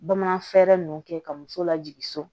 Bamanan fɛɛrɛ ninnu kɛ ka muso lajigin so